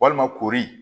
Walima koori